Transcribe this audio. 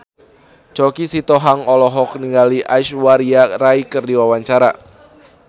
Choky Sitohang olohok ningali Aishwarya Rai keur diwawancara